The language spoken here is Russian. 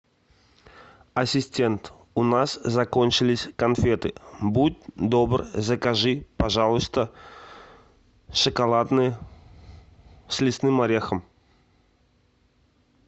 ассистент у нас закончились конфеты будь добр закажи пожалуйста шоколадные с лесным орехом